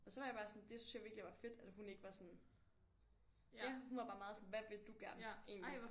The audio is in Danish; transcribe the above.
Og så var jeg bare sådan det synes jeg virkelig var fedt at hun ikke var sådan ja hun var bare meget sådan hvad vil du gerne egentlig